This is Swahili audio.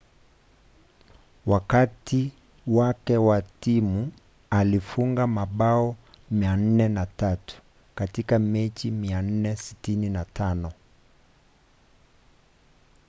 wakati wake na timu alifunga mabao 403 katika mechi 468